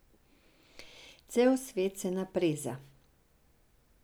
Cel svet se napreza.